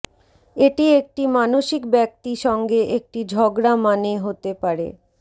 এটি একটি মানসিক ব্যক্তি সঙ্গে একটি ঝগড়া মানে হতে পারে